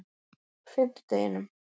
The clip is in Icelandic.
fimmtudeginum